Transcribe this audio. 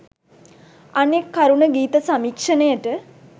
අනෙක් කරුණ ගීත සමීක්ෂණයට